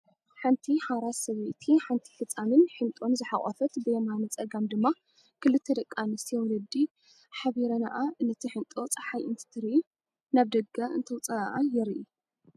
ሓንቲ ሓራስ ሰበይቲ ሓንቲ ህፃንን ሕንጦን ዝሐቆፈት ብየማነ ፀጋም ድማ ክልተ ደቂ አንስትዮ ወለዲ ሓቢረንኣ ነቲ ሕንጦ ፀሓይ እንትተርኢ /ናብ ደገ እተውፅኣኣ/ የርኢ።